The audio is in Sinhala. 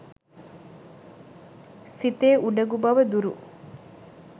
සිතේ උඩඟු බව දුරු